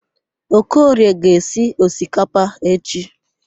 Okorie ga-esi osikapa echi.